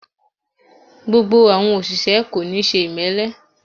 Gbogbo àwọn òṣìṣẹ́ kò níí ṣe ìmẹ́lẹ́